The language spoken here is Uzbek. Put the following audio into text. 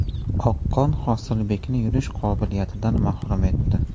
Oqqon Hosilbekni yurish qobiliyatidan mahrum etdi.